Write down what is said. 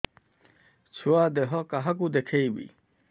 ଛୁଆ ଦେହ କାହାକୁ ଦେଖେଇବି